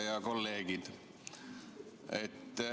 Head kolleegid!